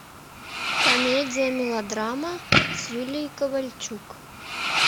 комедия мелодрама с юлией ковальчук